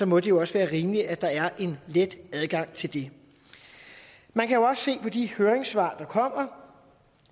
må det jo også være rimeligt at der er let adgang til det man kan jo også se på de høringssvar der kommer